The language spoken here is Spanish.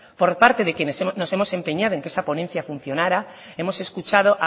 por parte de quienes nos hemos empeñado en que esa ponencia funcionara hemos escuchado